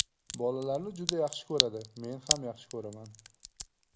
Bolalarni juda yaxshi ko‘radi, men ham yaxshi ko‘raman.